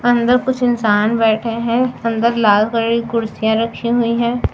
अंदर कुछ इंसान बैठे हैं अंदर लाल कलर की कुर्सियां रखी हुई हैं।